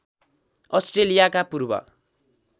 अष्ट्रेलियाका पूर्व